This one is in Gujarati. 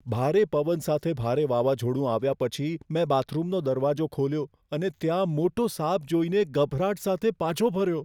ભારે પવન સાથે ભારે વાવાઝોડું આવ્યા પછી, મેં બાથરૂમનો દરવાજો ખોલ્યો અને ત્યાં મોટો સાપ જોઈને ગભરાટ સાથે પાછો ફર્યો.